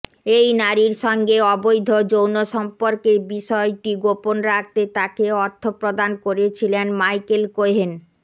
এই নারীর সঙ্গে অবৈধ যৌন সম্পর্কের বিষয়ট গোপন রাখতে তাকে অর্থ প্রদান করেছিলেন মাইকেল কোহেন